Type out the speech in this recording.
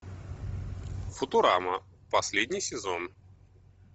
футурама последний сезон